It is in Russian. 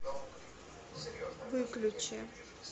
выключи